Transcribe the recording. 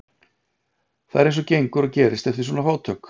Það er eins og gengur og gerist eftir svona átök.